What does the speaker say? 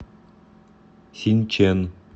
синчэн